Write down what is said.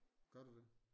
Gør du det?